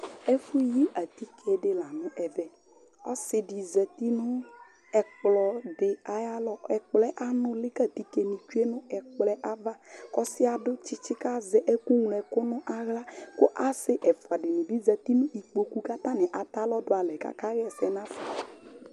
ɛfωyi ɑtikɛɗi lɑɲω ɛvé ɔsiɖi zɑti ɲω ɛkplo ɑyɑlɔ ɛkploɛ ɑŋωli kẽgẽɛ ɑtiké ɲi tsuɛ nω ɛkplo ɑyɑvɑɔsiɛ ɑdωtsitsi kɑzɛ ɛkωŋloɛku ɲɑhlɑ kω ɑsi ɛfωɑ ɖiŋibi ɑzɑti ɲikpokω kɑtɑŋi ɑtɑlɔɗuɑlɛ kɑkɑhɛsé